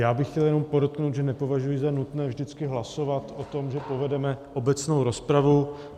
Já bych chtěl jenom podotknout, že nepovažuji za nutné vždycky hlasovat o tom, že povedeme obecnou rozpravu.